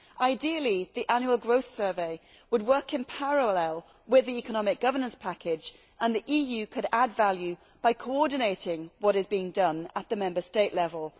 Ideally, the annual growth survey would work in parallel with the economic governance package and the EU could add value by coordinating what is being done at the Member State level.